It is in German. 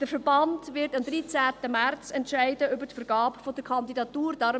Der Verband wird am 13. März über die Vergabe der Kandidatur entscheiden.